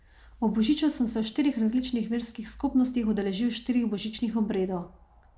Ob božiču sem se v štirih različnih verskih skupnostih udeležil štirih božičnih obredov.